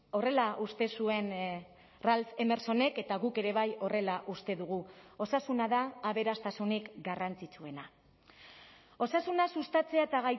horrela uste zuen ralph emersonek eta guk ere bai horrela uste dugu osasuna da aberastasunik garrantzitsuena osasuna sustatzea eta